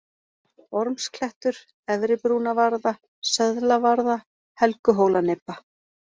Ormsklettur, Efribrúnavarða, Söðlavarða, Helguhólanibba